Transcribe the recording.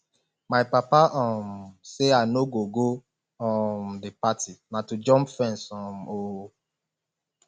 my papa um say i no go go um the party na to jump fence um oo